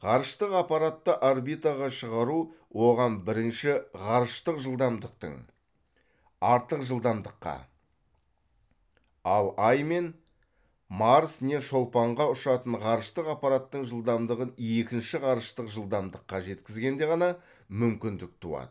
ғарыштық аппаратты орбитаға шығару оған бірінші ғарыштық жылдамдықтың артық жылдамдыққа ал ай мен марс не шолпанға ұшатын ғарыштық аппараттың жылдамдығын екінші ғарыштық жылдамдыққа жеткізгенде ғана мүмкіндік туады